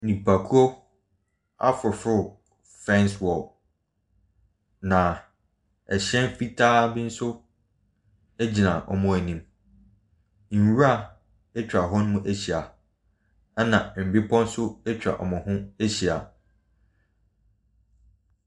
Nnipakuo afoforɔ fence wall na hyɛn fitaa bi nso gyina wɔn anim. Nwura atwa hɔ ahyia na mmepa nso atwa wɔn ho ahyia.